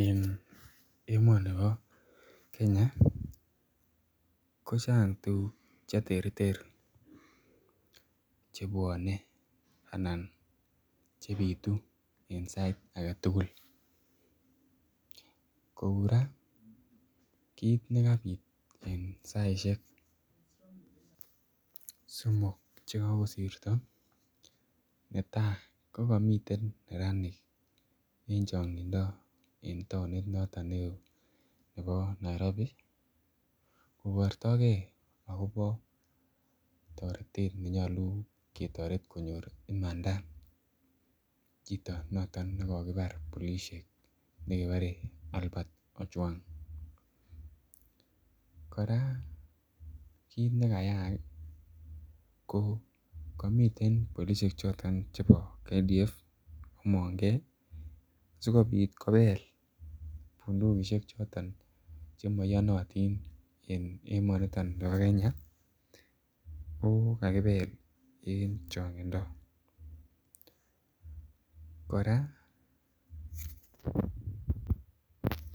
En emoni bo Kenya kochang tuguk Che terter chebwone Che bitu en sait age tugul kou ra kit ne kabit en saisiek somok Che kokosirto netai ko komiten neranik en changindo en taonit noton neo nebo Nairobi kobortoi gei agobo toretet ne moche ketoret konyor imanda chito noton nekokibar polisiek nekikuren Albert ojwang kora kit ne kayaak ko komiten polisiek choton chebo kdf asikobit kobel bundukisiek choton Che maiyonotin en emonito bo Kenya ko kakibel en changindo kora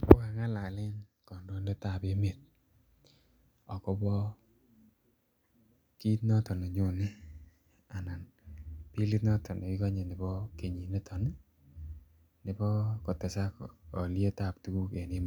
ko kangalalen kandoindet ab emet agobo kit noton bilit noton nekikonye nebo kenyiniton nebo kotesak alyet ab tuguk en emoni